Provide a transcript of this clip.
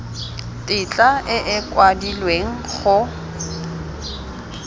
tetla e e kwadilweng go